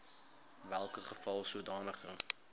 welke geval sodanige